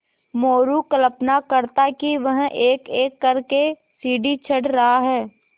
मोरू कल्पना करता कि वह एकएक कर के सीढ़ी चढ़ रहा है